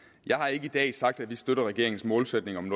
jeg har ikke i dag sagt at vi støtter regeringens målsætning om en